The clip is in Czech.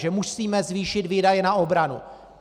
Že musíme zvýšit výdaje na obranu.